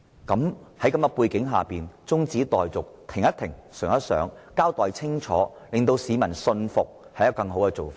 在這背景下，現時中止待續以便停一停，想一想，然後清楚交代令市民信服，可能是更好的做法。